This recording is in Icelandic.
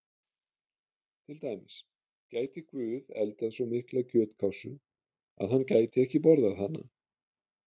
Til dæmis: Gæti Guð eldað svo mikla kjötkássu að hann gæti ekki borðað hana?